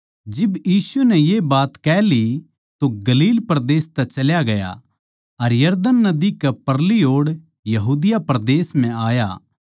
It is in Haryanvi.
जिब यीशु नै ये बात कह ली तो गलील परदेस तै चल्या गया अर यरदन नदी कै परली ओड़ यहूदिया परदेस म्ह आया